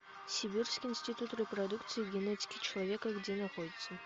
сибирский институт репродукции и генетики человека где находится